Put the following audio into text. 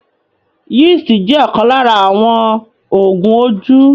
Yeast jẹ̀ ọ̀kan lára àwọn Oògùn ojú